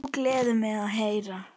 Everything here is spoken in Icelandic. Það gleður mig að heyra.